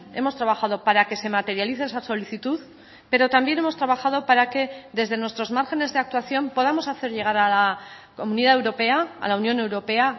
hemos trabajado para que se materialice esa solicitud pero también hemos trabajado para que desde nuestros márgenes de actuación podamos hacer llegar a la comunidad europea a la unión europea